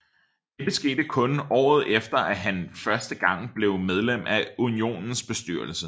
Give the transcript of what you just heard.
Dette skete kun året efter at han første gang blev medlem af unionens bestyrelse